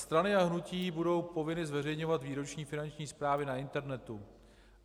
Strany a hnutí budou povinny zveřejňovat výroční finanční správy na internetu.